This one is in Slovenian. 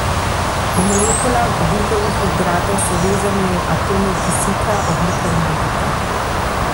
V molekulah ogljikovih hidratov so vezani atomi kisika, ogljika in vodika.